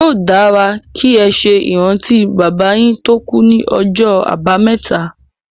Yóò dára kí ẹ ṣe ìrántí bàbá yín tó kú ní ọjọ́ àbámẹ́ta.